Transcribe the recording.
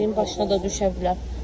Birinin başına da düşə bilər.